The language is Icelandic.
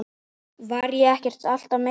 Var ég ekki alltaf meiddur?